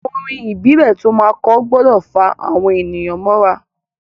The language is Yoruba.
Orin ìbílẹ̀ to máa kọ gbọdọ̀ fá àwọn èyàn mọ́ ra.